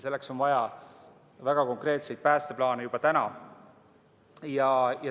Selleks on vaja väga konkreetseid päästeplaane juba täna.